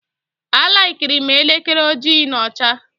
A likirim elekere ojii na ọcha